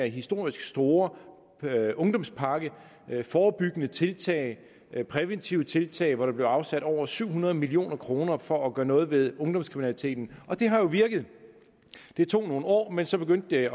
historisk stor ungdomspakke med forebyggende tiltag præventive tiltag og hvor der blev afsat over syv hundrede million kroner for at gøre noget ved ungdomskriminaliteten og det har jo virket det tog nogle år men så begyndte det